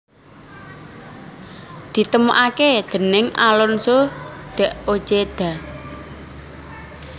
Ditemokake déning Alonso de Ojeda